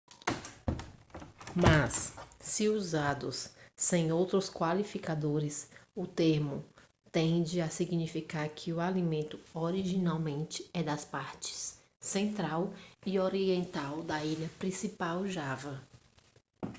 mas se usados sem outros qualificadores o termo tende a significar que o alimento originalmente é das partes central e oriental da ilha principal java